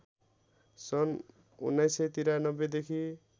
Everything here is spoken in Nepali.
सन् १९९३ देखि